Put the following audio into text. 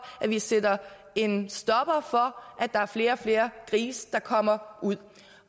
at vi sætter en stopper for at der er flere og flere grise der kommer ud